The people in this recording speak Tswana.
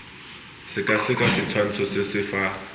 sekaseka setshwantsho se se fa